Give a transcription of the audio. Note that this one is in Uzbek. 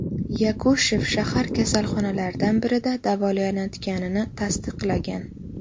Yakushev shahar kasalxonalaridan birida davolanayotganini tasdiqlagan.